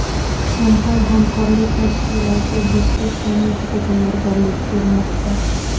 Shanxay hamkorlik tashkiloti Bishkek sammitiga tayyorgarlik ko‘rmoqda.